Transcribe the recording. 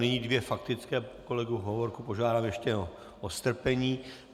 Nyní dvě faktické - kolegu Hovorku požádám ještě o strpení.